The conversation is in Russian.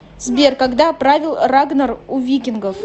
сбер когда правил рагнар у викингов